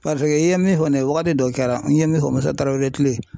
i ye min fɔ nin ye wagati dɔ kɛra n ye min fɔ Musa Tarawele kile.